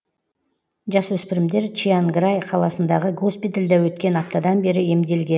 жасөспірімдер чианграй қаласындағы госпитальде өткен аптадан бері емделген